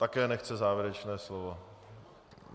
Také nechce závěrečné slovo.